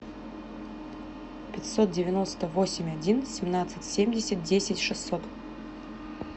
пятьсот девяносто восемь один семнадцать семьдесят десять шестьсот